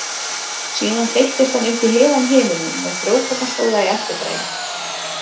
Síðan þeyttist hann upp í heiðan himininn með frjókornaslóða í eftirdragi.